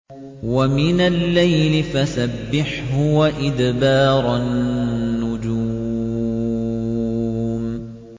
وَمِنَ اللَّيْلِ فَسَبِّحْهُ وَإِدْبَارَ النُّجُومِ